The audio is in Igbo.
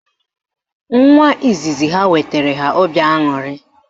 Nwa izizi ha wetara ha obi aṅụrị